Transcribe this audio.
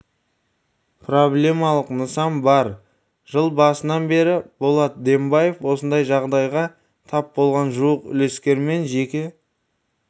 проблемалық нысан бар жыл басынан бері болат дембаев осындай жағдайға тап болған жуық үлескермен жеке